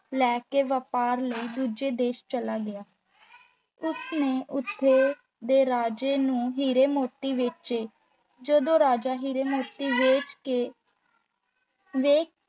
ਲੈ ਕੇ ਵਪਾਰ ਲਈ ਦੂਜੇ ਦੇਸ਼ ਚਲਿਆ ਗਿਆ। ਉਸ ਨੇ ਉੱਥੋਂ ਦੇ ਰਾਜੇ ਨੂੰ ਹੀਰੇ ਮੋਤੀ ਵੇਚੇ ਜਦੋਂ ਰਾਜਾ ਹੀਰੇ-ਮੋਤੀ ਵੇਖ ਕੇ ਵੇਖ